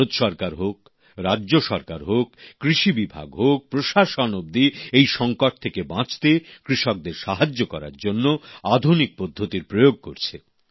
ভারত সরকার হোক রাজ্য সরকার হোক কৃষি বিভাগ হোক প্রশাসন অবধি এই সংকট থেকে বাঁচতে কৃষকদের সাহায্য করার জন্য আধুনিক পদ্ধতির প্রয়োগ করছে